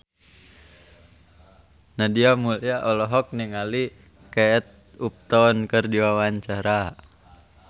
Nadia Mulya olohok ningali Kate Upton keur diwawancara